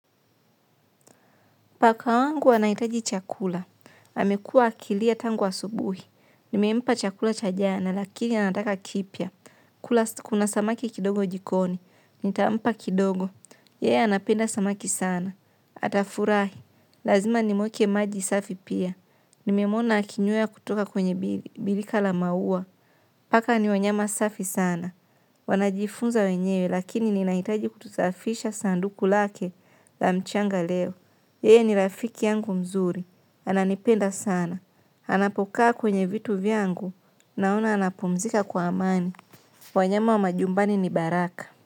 Paka wangu anahitaji chakula, amekua akilia tangu asubuhi, nimempa chakula cha jana lakini anataka kipya, kuna samaki kidogo jikoni, nitampa kidogo, yeye anapenda samaki sana, atafurahi, lazima nimwekee maji safi pia, nimemwona akinywea kutoka kwenye birika la maua, paka ni wanyama safi sana, wanajifunza wenyewe lakini ninaitaji kusafisha sanduku lake la mchanga leo, yeye ni rafiki yangu mzuri, ananipenda sana, anapokaa kwenye vitu vyangu, naona anapumzika kwa amani, wanyama wa majumbani ni baraka.